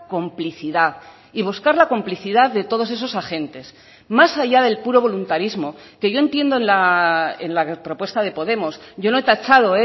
complicidad y buscar la complicidad de todos esos agentes más allá del puro voluntarismo que yo entiendo en la propuesta de podemos yo no he tachado